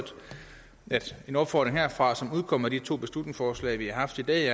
at en opfordring herfra til udkommet af de to beslutningsforslag vi har haft i dag